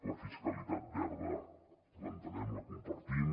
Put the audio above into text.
la fiscalitat verda l’entenem la compartim